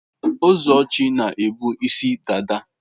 Ụzọchi na ebu isi dada.